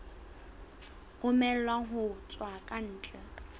romellwang ho tswa ka ntle